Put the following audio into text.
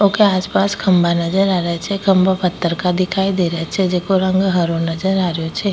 उका आसपास खम्भा नजर आ रिया छे खम्भा पत्थर का दिखाई दे रिया छे जेको रंग हराे नजर आ रियो छे।